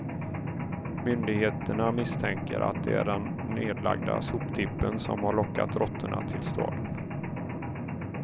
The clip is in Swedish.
Myndigheterna misstänker att det är den nedlagda soptippen som har lockat råttorna till staden.